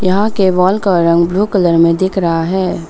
यहां के वॉल का रंग ब्लू कलर में दिख रहा है।